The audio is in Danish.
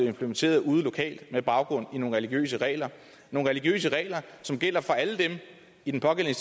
implementeret ude lokalt med baggrund i nogle religiøse regler nogle religiøse regler som gælder for alle dem i den pågældende